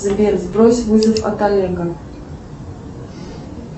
сбер сбрось вызов от олега